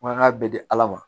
Mankan bɛ di ala ma